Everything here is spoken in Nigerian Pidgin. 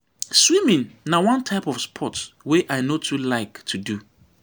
Swimming na one type of sport wey I no too like to do.